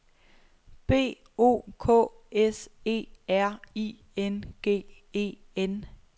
B O K S E R I N G E N